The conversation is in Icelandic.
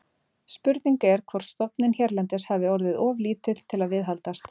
Spurning er hvort stofninn hérlendis hafi orðið of lítill til að viðhaldast.